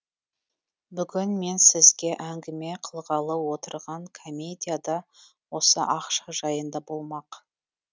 бүгін мен сізге әңгіме қылғалы отырған комедия да осы ақша жайында болмақ